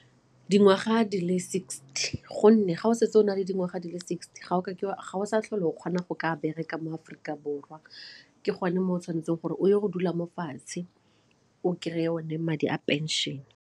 Dingwaga di le sixty gonne ga o setse o na le dingwaga di le sixty ga o sa tlhole o kgona go ka bereka mo Aforika Borwa ke gone mo o tshwanetseng gore o ye go dula mo fatshe o kry-e one madi a pension.